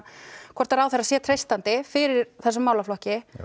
hvort að ráðherra sé treystandi fyrir þessum málaflokki